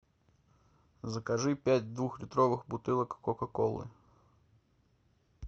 закажи пять двухлитровых бутылок кока колы